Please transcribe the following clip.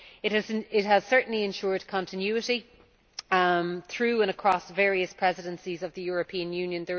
It has certainly ensured continuity through and across various presidencies of the European Union.